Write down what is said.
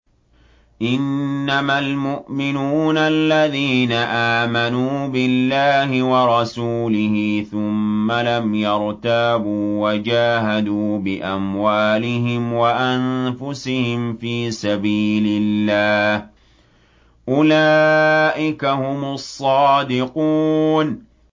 إِنَّمَا الْمُؤْمِنُونَ الَّذِينَ آمَنُوا بِاللَّهِ وَرَسُولِهِ ثُمَّ لَمْ يَرْتَابُوا وَجَاهَدُوا بِأَمْوَالِهِمْ وَأَنفُسِهِمْ فِي سَبِيلِ اللَّهِ ۚ أُولَٰئِكَ هُمُ الصَّادِقُونَ